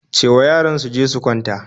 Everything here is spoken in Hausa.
Ce wa yaran su je su kwanta